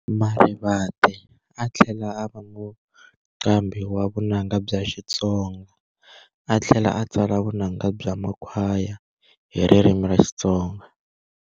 Marivate a a thlela ava muqambhi wa vunanga bya Xitsonga, a thlela a tsala vunanga bya makhwaya, hiririmi ra Xitsonga.